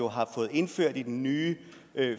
har fået indført i den nye